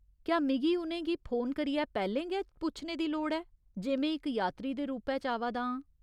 क्या मिगी उ'नें गी फोन करियै पैह्‌लें गै पुच्छने दी लोड़ ऐ जे में इक यात्री दे रूपै च आवै दा आं?